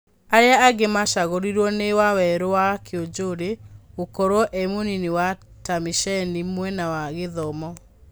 Arĩa angĩ macagũrirwo nĩ Wawerũwa Kiũnjũrĩ gũkorwo e mũnini wa Tamĩceni mwena wa gĩthomo.